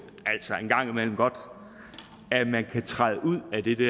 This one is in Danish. en gang at man godt kan træde ud af det det